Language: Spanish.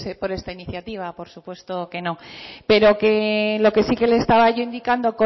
por esta iniciativa por supuesto que no pero lo que sí le estaba indicando